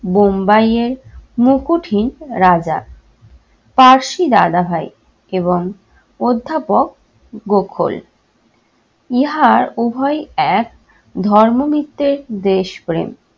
বোম্বাইয়ের মুকুটহীন রাজা কার্শি দাদাভাই এবং অধ্যাপক গোকুল। ইহার উভয়ই এক ধর্ম ভিত্তে দেশপ্রেম